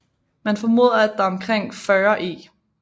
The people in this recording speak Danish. Man formoder at der omkring 40 e